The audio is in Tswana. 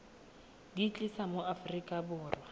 di tlisa mo aforika borwa